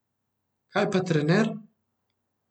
Kaj pa trener?